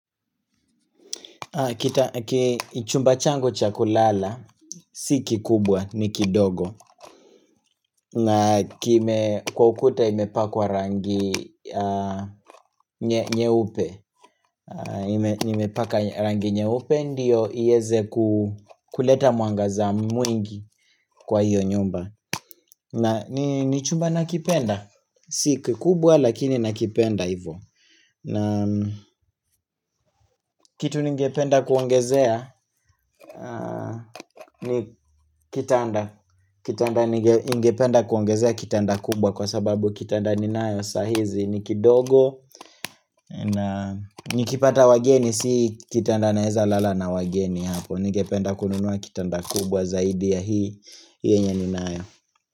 Chumba changu cha kulala Si kikubwa ni kidogo na kime kwa ukuta imepakwa rangi nyeupe Imepaka rangi nyeupe ndio ieze kuleta mwangaza mwingi kwa hiyo nyumba na ni chumba nakipenda Si kikubwa lakini nakipenda hivo kitu ningependa kuongezea ni kitanda Kitanda ningependa kuongezea kitanda kubwa Kwa sababu kitanda ninayo saa hizi ni kidogo na nikipata wageni Si kitanda naeza lala na wageni Ningependa kununua kitanda kubwa Zaidi ya hii Hii yenye ninayo.